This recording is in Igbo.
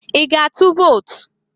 I ga-atụ vot?